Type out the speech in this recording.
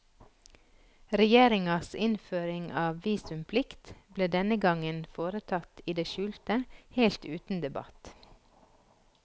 Regjeringas innføring av visumplikt ble denne gangen foretatt i det skjulte, helt uten debatt.